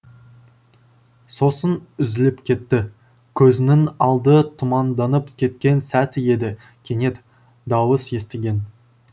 сосын үзіліп кетті көзінің алды тұманданып кеткен сәті еді кенет дауыс естіген